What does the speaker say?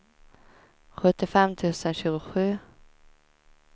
sjuttiofem tusen tjugosju